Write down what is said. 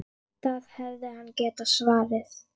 Það hefði hann getað svarið.